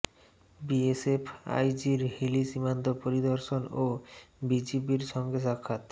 BSF আইজির হিলি সীমান্ত পরিদর্শন ও বিজিবির সঙ্গে সাক্ষাৎ